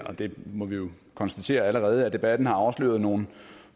må vi jo konstatere allerede at debatten afslører nogle